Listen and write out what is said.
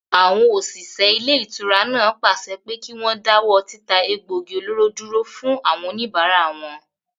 Àwọn òṣìṣẹ́ ilé-ìtura náà pàṣẹ pé kí wọ́n dáwọ́ títa egbògi olóró dúró fún àwọn òníbárà wọn